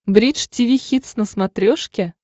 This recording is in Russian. бридж тиви хитс на смотрешке